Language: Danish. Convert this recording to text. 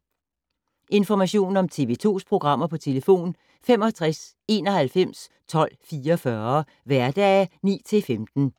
Information om TV 2's programmer: 65 91 12 44, hverdage 9-15.